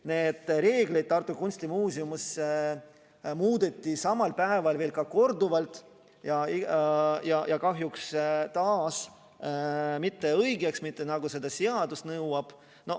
Samal päeval muudeti Tartu Kunstimuuseumis reegleid korduvalt ja kahjuks taas mitte õigeks, mitte selliseks, nagu seadus nõuab.